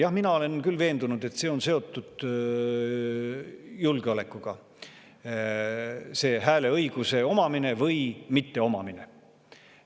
Jah, mina olen küll veendunud, et hääleõiguse omamine või mitteomamine on julgeolekuga seotud.